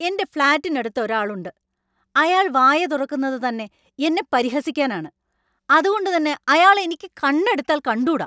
എൻ്റെ ഫ്ലാറ്റിനടുത്ത് ഒരാളുണ്ട്; അയാൾ വായ തുറക്കുന്നത് തന്നെ എന്നെ പരിഹസിക്കാനാണ്; അതുകൊണ്ട് തന്നെ അയാളെ എനിക്ക് കണ്ണെടുത്താൽ കണ്ടൂടാ.